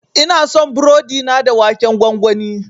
Ina son burodi na da waken gwangwani.